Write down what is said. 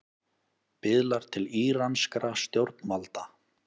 Biðlar til íranskra stjórnvalda